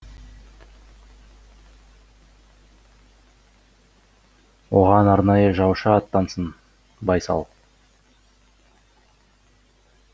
оған арнайы жаушы аттансын байсал